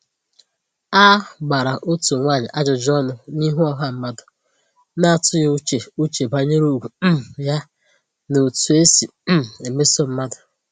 A gbara otu nwaanyị ajụjụ ọnụ n’ihu ọha mmadụ, na-atụghị uche uche banyere ugwu um ya na etu e si um emeso mmadụ